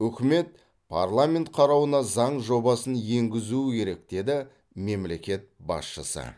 үкімет парламент қарауына заң жобасын енгізуі керек деді мемлекет басшысы